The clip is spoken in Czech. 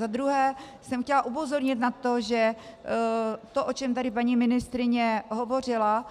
Za druhé jsem chtěla upozornit na to, že to, o čem tady paní ministryně hovořila,